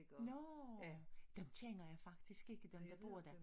Nåh dem kender jeg faktisk ikke dem der bor dér